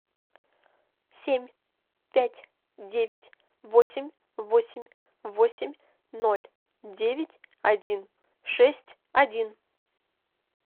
семь пять девять восемь восемь восемь ноль девять один шесть один